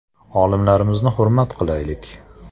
Olimlarimizni hurmat qilaylik.